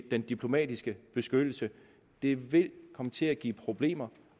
den diplomatiske beskyttelse det vil komme til at give problemer